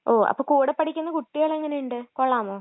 ഓ അപ്പൊ കൂടെപ്പഠിക്കുന്ന കുട്ടികളെങ്ങനെയുണ്ട്? കൊള്ളാമോ?